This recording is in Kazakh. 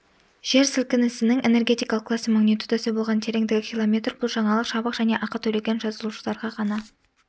жер сілкінісінің энергетикалық классы магнитудасы болған тереңдігі километр бұл жаңалық жабық және ақы төлеген жазылушыларға ғана